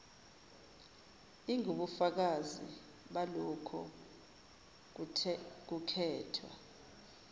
ingubufakazi balokho kukhethwa